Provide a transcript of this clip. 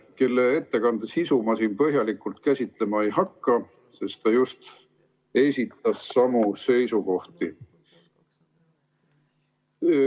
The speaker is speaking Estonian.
Tema ettekande sisu ma siin põhjalikult käsitlema ei hakka, sest ta siin just esitas samu seiukohti.